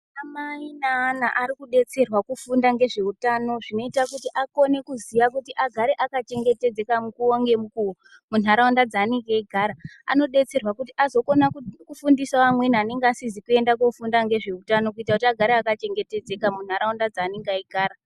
Ana mai neana arikudetserwa kufunda ngezveutano zvinoita kuti akone kuziya kuti agare akachengetedzeka nguwa ngemukuwo muntaraunda dzavanenge aigara .Anodetsera kuti azokona kufundisa amweni anenge asizi kuenda kofunda ngezveutano kuti agare akachengetedzeka muntaraunda dzaanenge aigara.